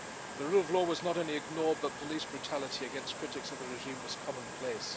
The rule of law was not only ignored, but police brutality against critics of the regime was commonplace.